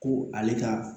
Ko ale ka